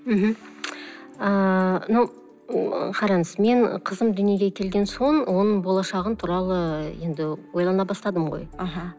мхм ааа қараңыз мен қызым дүниеге келген соң оның болашағы туралы енді ойлана бастадым ғой аха